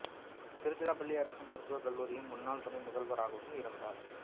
திருச்சிராப்பள்ளி அரசு மருத்துவக் கல்லூரியின் முன்னாள் துணை முதல்வராகவும் இருந்தார்